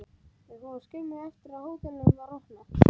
Þeir fóru að leita skömmu eftir að hótelið var opnað.